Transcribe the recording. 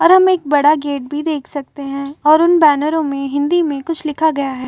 और हम एक बड़ा गेट भी देख सकते हैं और उन बैनरों में हिन्दी में कुछ लिखा गया है।